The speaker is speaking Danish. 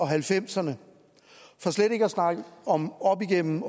halvfemserne for slet ikke at snakke om op igennem